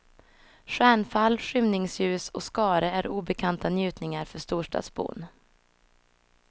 Stjärnfall, skymningsljus och skare är obekanta njutningar för storstadsbon.